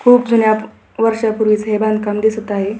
हे खूप जुन्या वर्षापूर्वीच हे बांधकाम दिसत आहे.